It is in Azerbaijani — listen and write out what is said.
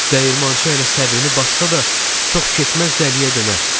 Dəyirmançı hələ səbrini bassa da, çox keçməz dəliyə dönər.